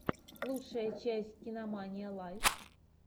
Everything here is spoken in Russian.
лучшая часть кинамания лайв